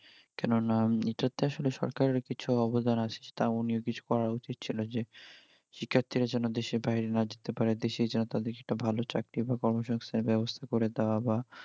কেননা এটাতে আসলে সরকারের কিছু অবদান আছে আমার কিছু করা উচিত ছিল, যে শিক্ষারর্থী যেন দেশের বাইরে না যেতে পারে, দেশেই যেন তাদের জন্য ভাল চাকরি বা কর্ম সংস্থান বাবস্থা করে দেওয়া বা